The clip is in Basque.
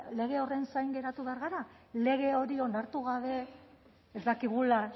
lege horren zain geratu behar gara lege hori onartu gabe ez dakigula